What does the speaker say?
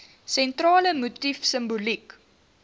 sentrale motief simboliek